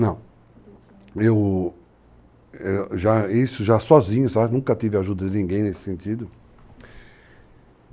Não, eu... é, já, isso já sozinho, sabe, nunca tive ajuda de ninguém nesse sentido.